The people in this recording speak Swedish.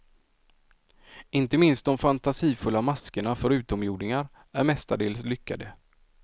Inte minst de fantasifulla maskerna för utomjordingar är mestadels lyckade.